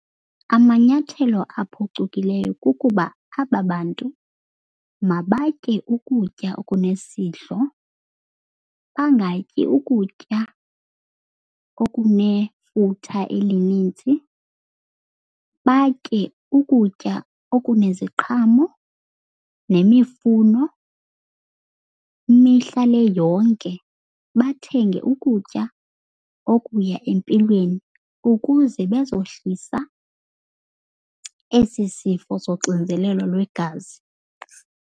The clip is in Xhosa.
Amanyathelo aphcukileyo kukuba aba bantu mabatye ukutya okunesidlo, bangatyi ukutya okunefutha elinintsi. Batye ukutya okuneziqhamo nemifuno mihla le yonke. Bathenge ukutya okuya empilweni ukuze bezohlisa esi sifo soxinzelelo lwegazi.